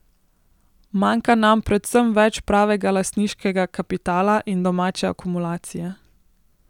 Manjka nam predvsem več pravega lastniškega kapitala in domače akumulacije.